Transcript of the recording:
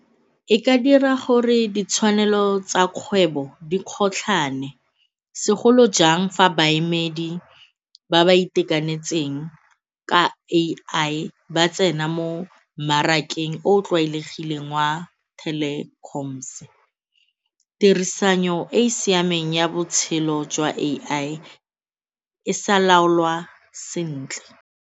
E ma dira gore ditshwanelo tsa kgwebo di kgotlhane segolo jang fa baemedi ba ba itekanetseng ka A_I ba tsena mo mmarakeng o o tlwaelegileng wa telecoms-e. Tirisano e e siameng ya botshelo jwa A_I e sa laolwa sentle.